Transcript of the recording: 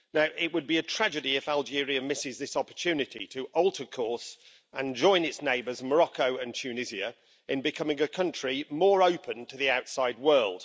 It would be a tragedy if Algeria misses this opportunity to alter course and join its neighbours Morocco and Tunisia in becoming a country more open to the outside world.